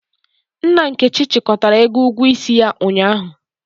Nna Nkechi chịkọtara ego ugwuo isi ya ụnyahụ.